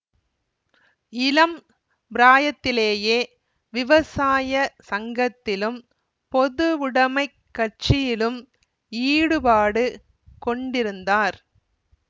இளம் பிராயத்திலேயே விவசாய சங்கத்திலும் பொதுவுடைமைக் கட்சியிலும் ஈடுபாடு கொண்டிருந்தார்